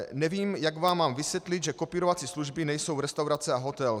Nevím, jak vám mám vysvětlit, že kopírovací služby nejsou restaurace a hotel.